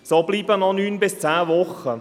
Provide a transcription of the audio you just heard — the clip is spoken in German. Damit bleiben noch neun bis zehn Wochen.